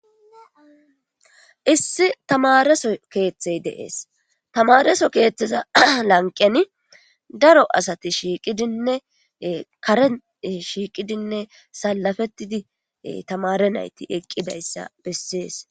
issi tamareso keeththey deees tamareso keeththeza lanqeni daro asati shiiqidinne karen shiiqidinne salafettidi tamare nayti eqqidayssa bessees